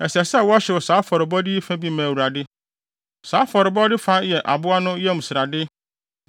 Ɛsɛ sɛ wɔhyew saa afɔrebɔde yi fa bi ma Awurade. Saa afɔrebɔde fa no yɛ aboa no yam srade,